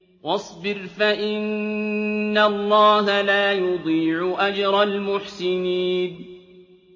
وَاصْبِرْ فَإِنَّ اللَّهَ لَا يُضِيعُ أَجْرَ الْمُحْسِنِينَ